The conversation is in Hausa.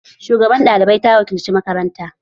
Shugabar ɗalibai ta wakilci makaranta.